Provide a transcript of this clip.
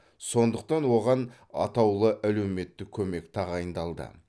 сондықтан оған атаулы әлеуметтік көмек тағайындалды